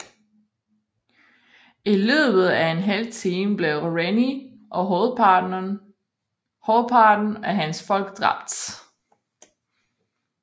I løbet af en halv time blev Rennie og hovedparten af hans folk dræbt